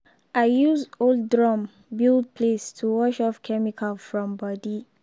i use old drum build place to wash off chemical from body.